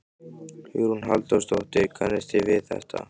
Hugrún Halldórsdóttir: Kannist við þetta?